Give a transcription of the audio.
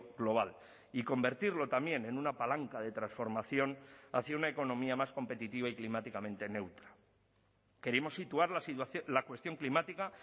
global y convertirlo también en una palanca de transformación hacia una economía más competitiva y climáticamente neutra queremos situar la cuestión climática